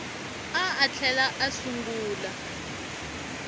a a tlhela a sungula